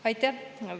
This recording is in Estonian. Aitäh!